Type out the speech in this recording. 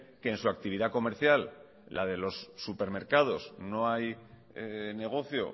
que en su actividad comercial la de los supermercados no hay negocio